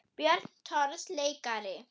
Björn Thors leikari